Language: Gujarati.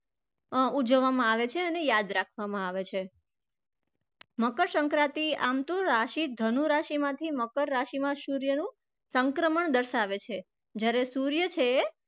ઉજવવામાં આવે છે અને યાદ રાખવામાં છે. મકરસંક્રાંતિ આમ તો રાશિ ધનુ રાશિમાંથી મકર રાશિમાં સૂર્યનું સંક્રમણ દર્શાવે છે જયારે સૂર્ય છે એ